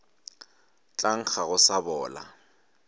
tla nkga go sa bola